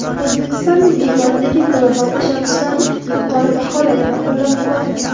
O‘zbekistonning bu boradagi global tashabbuslarini yuqori baholadi va qo‘llab-quvvatladi.